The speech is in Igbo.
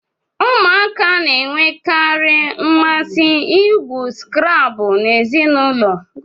Ụmụaka na-enwekarị mmasị igwu Scrabble na ezinụlọ